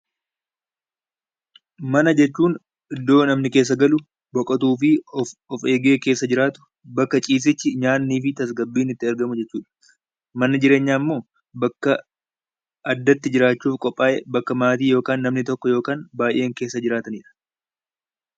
Mana jechuun iddoo namni keessa galu, nowotuu fi of eegee keessa jiraatu, bskka ciisichi, nyaannii fi tasgsbbiin itti argamu jechuu dha. Manni jireenyaa immoo bakka addatti jiraachuuf qophaa'e, bakka maatii yookaan namni tokko yookaan baay'een keessa jiraatani dha.